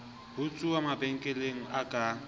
ho utsuwa mabenkeleng a ka